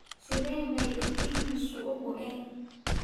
Sidee bay indhihiisu u go'een?